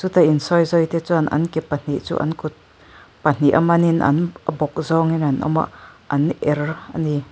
chuta insawizawi te chuan an ke pahnih chu an kut pahniha manin a bawk zawngin an awm a an er a ni.